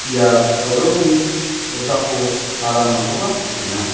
ia dolongni kosako aramrangkoba nikenga.